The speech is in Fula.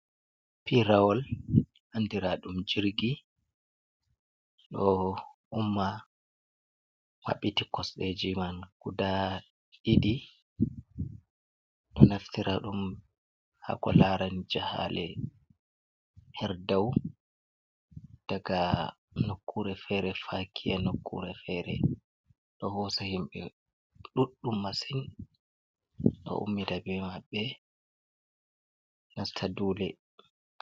Pirawol andira ɗum jirgi. Ɗo umma maɓɓiti kosɗeji man guda ɗiɗi. Ɗo naftira ɗum haako larani jahale her dau daga nokkure fere fakiya nokkure fere. Ɗo hosa himɓe ɗuɗɗum masin ɗo ummida be maɓbe nasta dule.